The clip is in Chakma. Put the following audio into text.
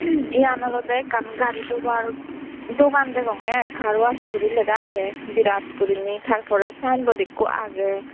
iyan olodey ekkan gari dobar dogan degonge aai car wash guri lega agey birat guriney tar porey sayenbod ikko agey.